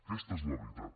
aquesta és la veritat